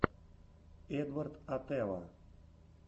эдвард атэва